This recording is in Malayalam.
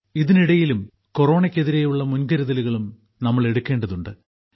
ഇതിനിടയിലും കൊറോണയ്ക്കെതിരെയുള്ള മുൻകരുതലുകളും നമ്മൾ എടുക്കേണ്ടതുണ്ട്